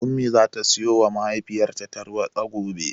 Ummi zata siyowa mahaifiyarta tarwaɗa gobe.